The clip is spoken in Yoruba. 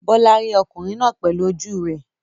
Bola rí ọkùnrin náà pẹ̀lú ojú rẹ̀.